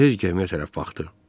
Tez gəmiyə tərəf baxdı.